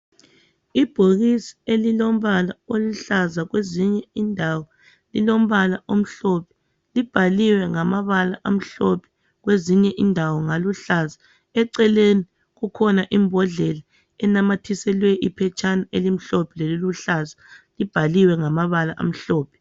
Ibhokisi elilombala oluhlaza kwezinye indawo lilombala omhlophe, libhaliwe ngamabala amhlophe kwezinye indawo ngaluhlaza eceleni kukhona imbodlela enanyathiselwe iphetshana elimhlophe leliluhlaza libhaliwe ngamabala amhlophe.